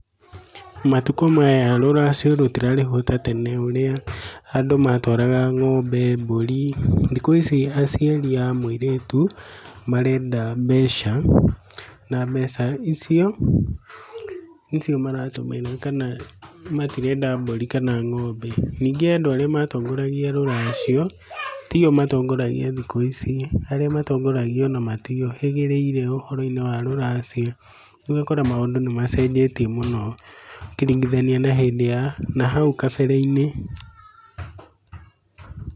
Matukũ maya rũracio rũtirarĩhwo ta tene ũrĩa andũ matwara ng'ombe, mbũri, thikũ ici aciari a mũirĩtu marenda mbeca. Na mbeca icio nĩcio maratũmĩrwo kana matirenda mbũri kana ng'ombe. Ningĩ andũ arĩa matongoragia rũracio tio matongoragia thikũ ici. Arĩa matongoragia ona matiũhĩgĩrĩire ũhoro-inĩ wa rũracio, rĩu ũgakora maũndũ nĩ macenjirie mũno ũkĩringithania na hĩndĩ ya n hau kabere-inĩ.